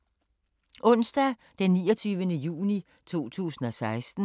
Onsdag d. 29. juni 2016